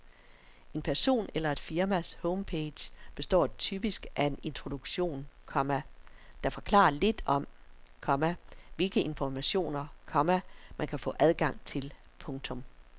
En person eller et firmas homepage består typisk af en introduktion, komma der forklarer lidt om, komma hvilke informationer, komma man kan få adgang til. punktum